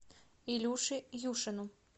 илюше юшину